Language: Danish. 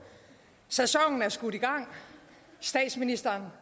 sæsonen er skudt i gang statsministeren har